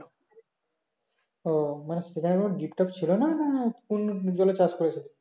ও মানে সেখানে কোনো deep top ছিল না না কোন জলে চাষ করেছিল